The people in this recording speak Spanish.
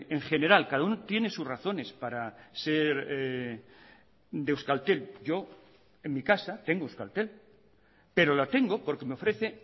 en general cada uno tiene sus razones para ser de euskaltel yo en mi casa tengo euskaltel pero la tengo porque me ofrece